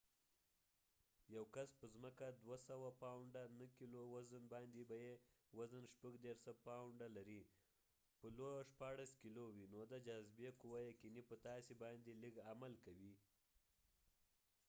یو کس په ځمکه 200 پاونډه 90کېلو وزن لري په لو loباندي به یې وزن 36 پاونډه 16 کېلو وي. نو د جاذبی قوه یقینی په تا سی باندي لږ عمل کوي